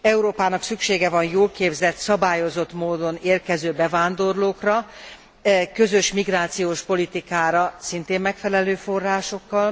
Európának szüksége van jól képzett, szabályozott módon érkező bevándorlókra, közös migrációs politikára szintén megfelelő forrásokkal.